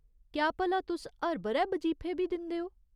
क्या भला तुस हर ब'रै बजीफे बी दिंदे ओ ?